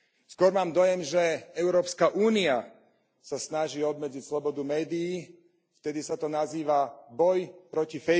Skôr mám dojem, že Európska únia sa snaží obmedziť slobodu médií, vtedy sa to nazýva boj proti